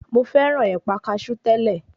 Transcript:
Mo fẹ́ràn ẹ̀pà kasú tẹ́lẹ̀.